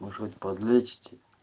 может быть подлечите